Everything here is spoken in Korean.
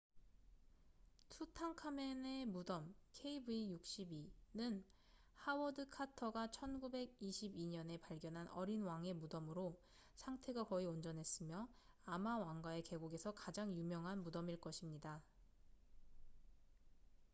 투탕카멘의 무덤kv62. kv62는 하워드 카터가 1922년에 발견한 어린 왕의 무덤으로 상태가 거의 온전했으며 아마 왕가의 계곡에서 가장 유명한 무덤일 것입니다